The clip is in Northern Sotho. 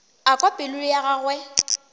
a kwa pelo ya gagwe